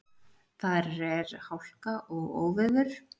Þar er hálka og óveður.